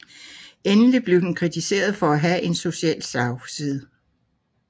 Endelig blev den kritiseret for at have en social slagside